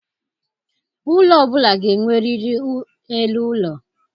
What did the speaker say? Ụlọ ọ bụla ga-enwerịrị elu ụlọ.